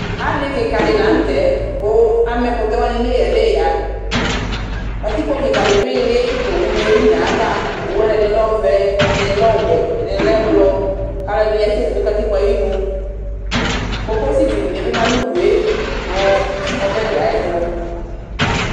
Alɩ kɩkadɩ lanutɛ kʊ ama ɛkʊtɛ wanɩ nʊ eya nʊ eya katikpo kikadi dʊ ili kʊ owʊ nɩ yeli nʊ ayu ava owʊ ɛdɩlɩ lɛ ɔvɛ ɛdɩnɩ lɛ ɔwɛ ɛdɩnɩ lɛ blɔ kʊ alʊɛdɩnɩ kasɛlɩ nʊ katikpo ayʊ ɩnʊ kokosɩ dɩnɩ bɩ ma nʊ ʊdʊe nʊ ɔbɛdɩ ayʊ ɛtʊ